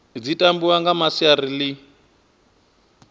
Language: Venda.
dzi tambiwa nga masiari ḽi